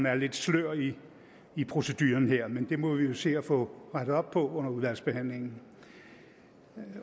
er lidt slør i i proceduren her men det må vi jo se at få rettet op på under udvalgsbehandlingen